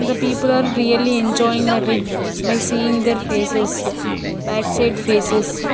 The people are really enjoying that by seeing their faces backside faces.